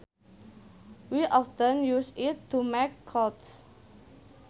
We often use it to make clothes